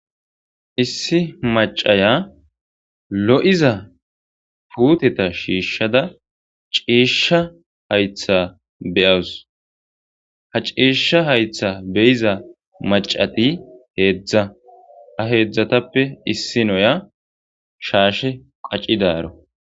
Issi macaya lo'iza puteta shiishada ciisha haytha beyaws Ha ciisha haytha beyiza macati hezha ha hezhatappe issinaya shaashe qacidaro